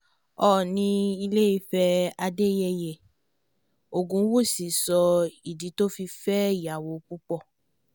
oòní ilé ìfẹ́ adéyẹyẹ ògúnwúsì sọ ìdí tó fi fẹ́ ìyàwó púpọ̀